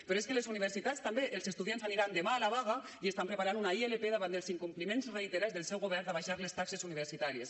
però és que a les universitats també els estudiants aniran demà a la vaga i estan preparant una ilp davant dels incompliments reiterats del seu govern d’abaixar les taxes universitàries